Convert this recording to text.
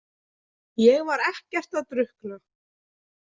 Ég var ekkert að drukkna.